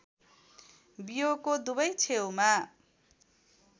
बियोको दुवै छेउमा